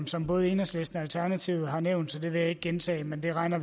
som både enhedslisten og alternativet har nævnt så det vil jeg ikke gentage men det regner